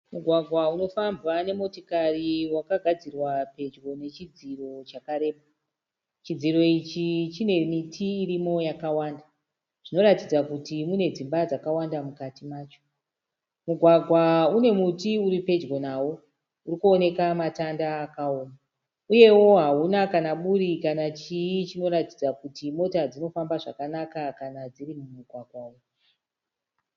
Mugwagwa unofambwa nemotokari wakagadzirwa pedyo nechidziro chakareba. Chidziro ichi chinemiti irimo yakawanda, zvinoratidza kuti mune dzimba dzakawanda mukati macho. Mugwagwa unemuti uripedyo nawo irikuoneka matanda akaoma. Uyewo hauna kana buri kana chii chinoratidza kuti mota dzinofamba zvakanaka kana dziri mumugwagwa umu.